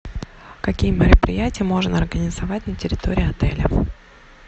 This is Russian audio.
какие мероприятия можно организовать на территории отеля